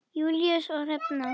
Júlíus og Hrefna.